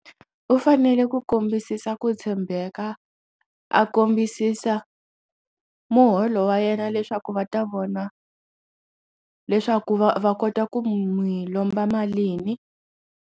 U fanele ku kombisisa ku tshembeka a kombisisa muholo wa yena leswaku va ta vona leswaku va kota ku n'wi lomba malini.